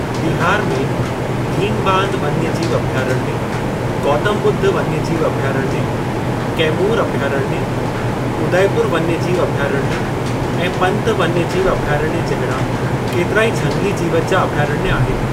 बिहार में भीमबांध वन्यजीव अभयारण्य, गौतम ॿुद्ध वन्यजीव अभयारण्य, कैमूर अभयारण्य, उदयपुर वन्यजीव अभयारण्य ऐं पंत वन्यजीव अभयारण्य जहिड़ा केतिरा ई झंगिली जीवत जा अभयारण्य आहिनि।